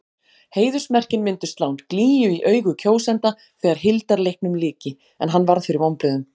Heiðursmerkin myndu slá glýju í augu kjósenda þegar hildarleiknum lyki- en hann varð fyrir vonbrigðum.